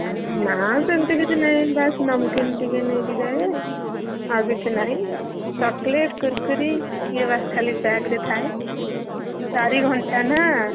ନା ସେମତି କିଛି ନେଇନି ବାସ୍ namkeen ଟିକେ ନେଇକି ଯାଏ। ଆଉ କିଛି ନାଇଁ chocolate, Kurkure ଇଏ ବାସ୍ ଖାଲି bag ରେ ଥାଏ। ଚାରି ଘଣ୍ଟା ନା।